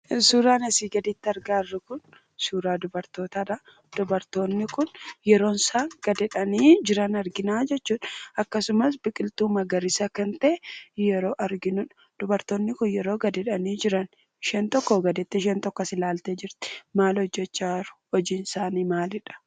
Suuraan asii gaditti argaa jirru kun suuraa dubartootaadha. Dubartoonni kun yeroo isaan gad jedhanii jiran arginaa jechuudha. Akkasumas biqiltuu magariisa kan ta'e yeroo arginudha. Dubartoonni kun yeroo gad jedhanii jiran isheen tokko gad jettee isheen tokko as ilaaltee jirti. Maal hojjechaa jiru? hojiinsaanii maalidha?